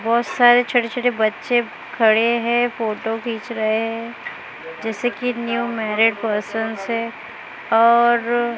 बहोत सारे छोटे छोटे बच्चे खड़े हैं फोटो खींच रहे हैं जैसे की न्यू मैरिड पर्सन है और--